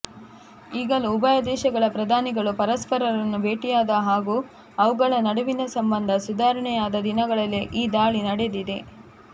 ಈಗಲೂ ಉಭಯ ದೇಶಗಳ ಪ್ರಧಾನಿಗಳು ಪರಸ್ಪರರನ್ನು ಭೇಟಿಯಾದ ಹಾಗೂ ಅವುಗಳ ನಡುವಿನ ಸಂಬಂಧ ಸುಧಾರಣೆಯಾದ ದಿನಗಳಲ್ಲೇ ಈ ದಾಳಿ ನಡೆದಿದೆ